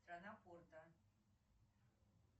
страна порта